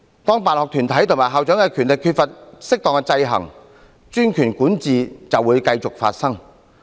當辦學團體和校長的權力缺乏適當的制衡，專權管治便會發生。